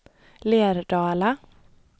Lerdala